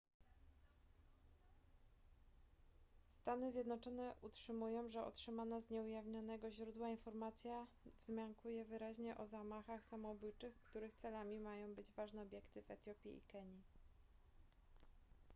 stany zjednoczone utrzymują że otrzymana z nieujawnionego źródła informacja wzmiankuje wyraźnie o zamachach samobójczych których celami mają być ważne obiekty w etiopii i kenii